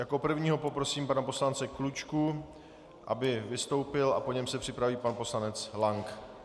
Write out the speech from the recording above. Jako prvního poprosím pana poslance Klučku, aby vystoupil, a po něm se připraví pan poslanec Lank.